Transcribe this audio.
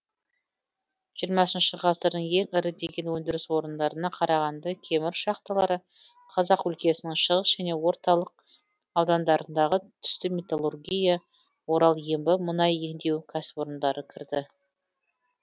жиырмасыншы ғасырдың ең ірі деген өндіріс орындарына қарағанды кемір шахталары қазақ өлкесінің шығыс және орталық аудандарындағы түсті металлургия орал ембі мұнай еңдеу кәсіпорындары кірді